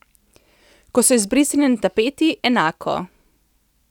Ko so izbrisani na tapeti, enako.